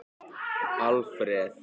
Alfreð